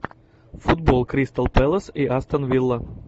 футбол кристал пэлас и астон вилла